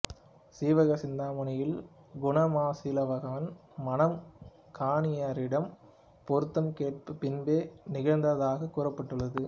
சீவக சிந்தாமணியில் குண மாலைசீவகன் மணம் கணியரிடம் பொருத்தம் கேட்ட பின்பே நிகழ்ந்ததாகக் கூறப்பட்டுள்ளது